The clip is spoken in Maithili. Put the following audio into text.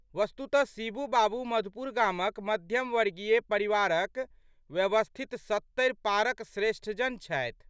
वस्तुतः शिबू बाबू मधुपुर गामक मध्यम वर्गीय परिवारक व्यवस्थित सत्तरि पारक श्रेष्ठजन छथि।